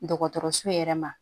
Dɔgɔtɔrɔso yɛrɛ ma